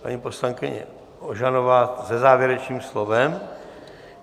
Paní poslankyně Ožanová se závěrečným slovem.